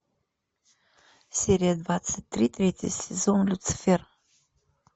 серия двадцать три третий сезон люцифер